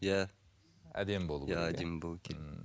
иә әдемі болуы керек иә